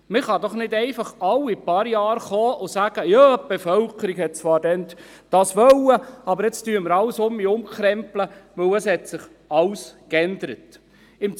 Man kann doch nicht einfach alle paar Jahre kommen und sagen: Ja, die Bevölkerung wollte das zwar damals, aber jetzt krempeln wir alles um, weil sich alles geändert hat.